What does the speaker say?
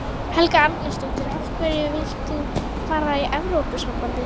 Helga Arnardóttir: Af hverju vilt þú fara í Evrópusambandið?